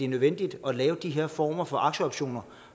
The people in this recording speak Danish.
nødvendigt at lave de her former for aktieoptioner